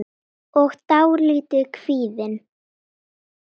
og dálítið kvíðin.